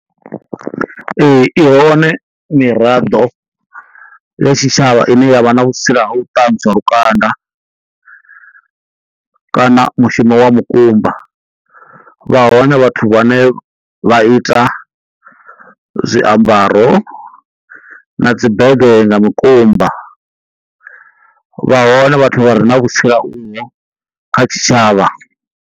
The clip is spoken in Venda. Ee i hone miraḓo ya tshitshavha ine yavha na vhutsila ha u tanzwa lukanda kana mushumo wa mukumba vha hone vha vhathu vhane vha ita zwiambaro na dzi bege nga mikumba, vha hone vhathu vha re na kha tshitshavha.